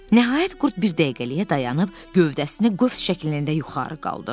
Nəhayət, qurd bir dəqiqəliyə dayanıb gövdəsini qövs şəklində yuxarı qaldırdı.